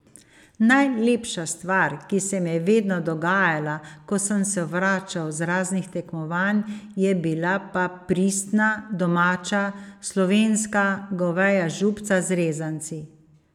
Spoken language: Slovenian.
Najlepša stvar, ki se mi je vedno dogajala, ko sem se vračal z raznih tekmovanj, je bila pa pristna, domača, slovenska goveja župca z rezanci.